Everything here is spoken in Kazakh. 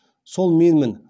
сол менмін